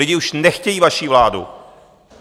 Lidi už nechtějí vaši vládu!